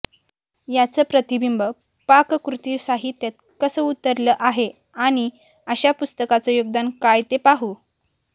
याचं प्रतिबिंब पाककृती साहित्यात कसं उतरलं आहे आणि अशा पुस्तकांचं योगदान काय ते पाहू